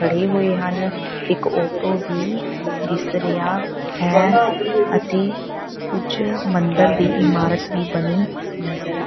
ਖੜ੍ਹੇ ਹੋਏ ਹਨ ਇੱਕ ਆਟੋ ਵੀ ਦਿਸ ਰਿਹਾ ਹੈ ਅਤੇ ਕੁਝ ਮੰਦਰ ਦੀ ਇਮਾਰਤ ਦੀ ਬਣੀ ਨਜ਼ਰ --